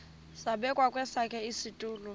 zabekwa kwesakhe isitulo